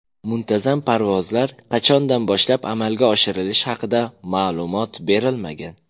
Muntazam parvozlar qachondan boshlab amalga oshirilishi haqida ma’lumot berilmagan.